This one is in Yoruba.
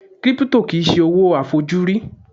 Crypto kìí ṣe owó a fojú rí